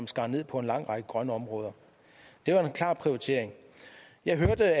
skar ned på en lang række grønne områder det var en klar prioritering jeg hørte